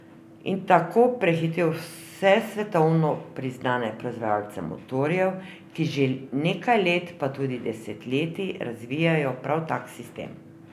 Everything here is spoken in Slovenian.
In tako prehitel vse svetovno priznane proizvajalce motorjev, ki že nekaj let, pa tudi desetletij, razvijajo prav tak sistem.